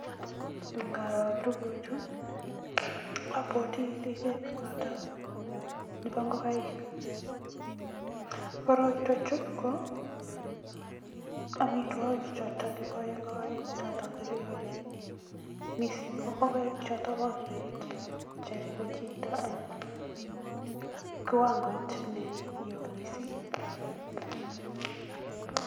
Ingaroo tuguchu, abwoti ripet noto nebo ingokaik, korotwechu ko amitwokik choto kipoe ingokaik choto kiripei mising ko ingokaik choto ko grade choto ripei chito ako kiwangoit neo mising.